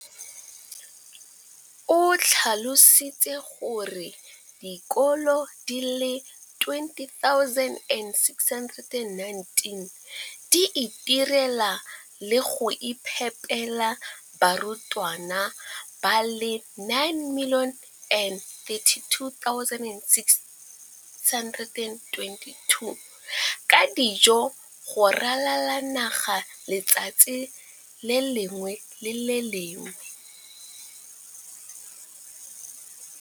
O tlhalositse gore dikolo di le 20 619 di itirela le go iphepela barutwana ba le 9 032 622 ka dijo go ralala naga letsatsi le lengwe le le lengwe.